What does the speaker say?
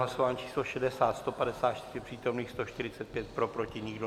Hlasování číslo 60, 154 přítomných, 145 pro, proti nikdo.